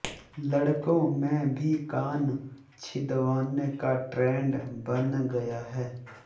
लड़कों में भी कान छिदवाने का ट्रेंड बन गया है